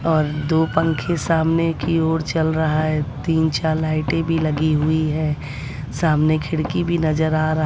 और दो पंखे सामने की ओर चल रहा हैं तीन चार लाइटें भी लगी हुई हैं सामने खिड़की भी नजर आ रहा--